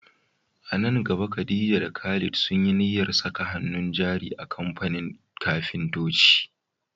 A nan gaba Khadija da Khalid sun yi niyyar saka hannun jari a kamfanin kafintoci.